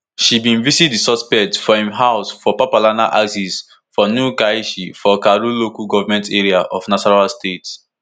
she bin visit di suspect for im house for papalana axis for new karshi for karu local goment area of nasarawa state